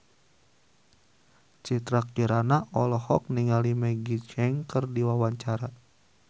Citra Kirana olohok ningali Maggie Cheung keur diwawancara